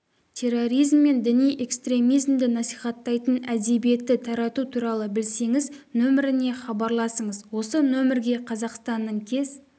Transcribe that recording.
терроризм мен діни экстремизмді насихаттайтын әдебиетті тарату туралы білсеңіз нөміріне хабарласыңыз осы нөмірге қазақстанның кез